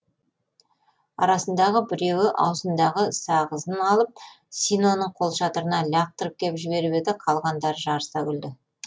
арасындағы біреуі аузындағы сағызын алып синоның қолшатырына лақтырып кеп жіберіп еді қалғандары жарыса күлді